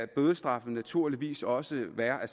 bødestraffen naturligvis også være af